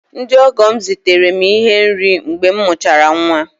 Ndị ọgọ m zitere m ihe nri mgbe m mụchara nwa